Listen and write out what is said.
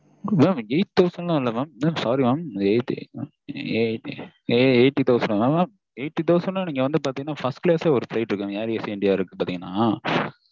mam eight thousand ல இல்ல mam sorry mam eighty thousand னா நீங்க வந்து பாத்திங்கண்ணா first class லேயே air asia india இருக்கு mam